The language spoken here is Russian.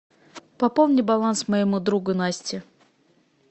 пополни баланс моему другу насте